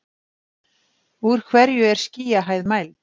úr hverju er skýjahæð mæld